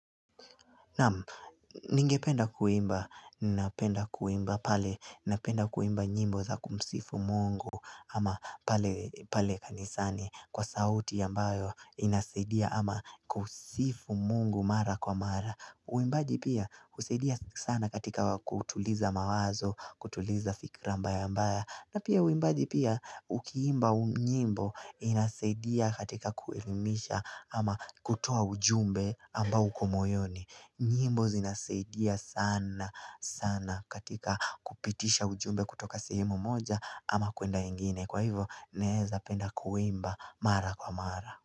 Naam, ningependa kuimba, ninapenda kuimba pale, ninapenda kuimba nyimbo za kumsifu mungu ama pale kanisani kwa sauti ambayo inasaidia ama kusifu mungu mara kwa mara. Uimbaji pia husaidia sana katika kutuliza mawazo, kutuliza fikra mbaya mbaya na pia uimbaji pia ukiimba nyimbo inasaidia katika kuelimisha ama kutoa ujumbe ambao uko moyoni nyimbo zinasaidia sana sana katika kupitisha ujumbe kutoka sehemu moja ama kwenda ingine Kwa hivo naweza penda kuimba mara kwa mara.